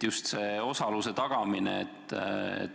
Just see osaluse tagamine.